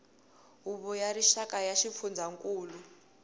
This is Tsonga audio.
huvo ya rixaka ya swifundzankulu